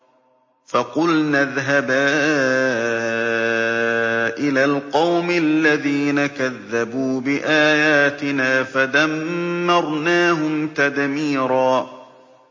فَقُلْنَا اذْهَبَا إِلَى الْقَوْمِ الَّذِينَ كَذَّبُوا بِآيَاتِنَا فَدَمَّرْنَاهُمْ تَدْمِيرًا